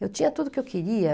Eu tinha tudo o que eu queria.